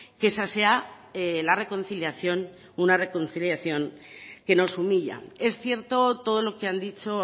que esa sea la reconciliación una reconciliación que nos humilla es cierto todo lo que han dicho